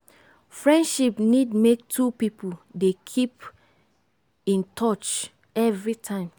friendship need make two pipo dey keep in touch every time